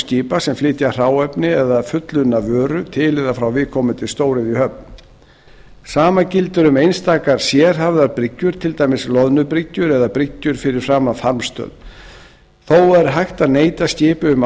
skipa sem flytja hráefni eða fullunna vöru til eða frá viðkomandi stóriðjuhöfn sama gildir um einstakar sérhæfðar bryggjur til dæmis loðnubryggjur eða bryggjur fyrir framan farmstöð þó er hægt að neita skipi um